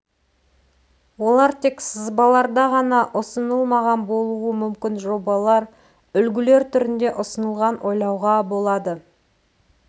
олар тек сызбаларда ғана ұсынылмаған болуы мүмкін жобалар үлгілер түрінде ұсынылған ойлауға болады